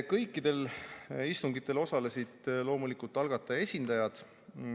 Kõikidel istungitel osalesid loomulikult algataja esindajad.